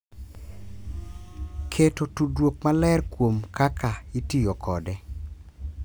Keto tudruok maler kuom kaka itiyo kode,